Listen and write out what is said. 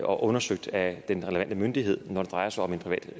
og undersøgt af den relevante myndighed når det drejer sig om en privat